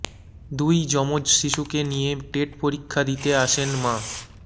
দুই যমজ শিশুকে নিয়ে টেট পরীক্ষা দিতে আসেন মা